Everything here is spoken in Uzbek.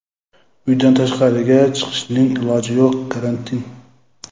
Uydan tashqariga chiqishning iloji yo‘q, karantin.